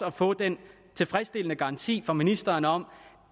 at få den tilfredsstillende garanti fra ministeren om